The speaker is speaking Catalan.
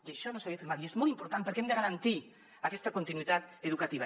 i això no s’havia fet mai i és molt important perquè hem de garantir aquesta continuïtat educativa